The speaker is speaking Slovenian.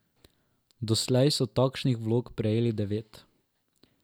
Doslej so takšnih vlog prejeli devet.